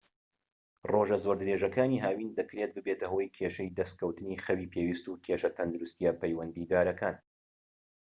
ڕۆژە زۆر درێژەکانی هاوین دەکرێت ببێتە هۆی کێشەی دەسکەوتنی خەوی پێویست و کێشە تەندروستیە پەیوەندیدارەکان